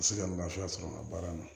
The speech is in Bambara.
Se ka lafiya sɔrɔ a baara la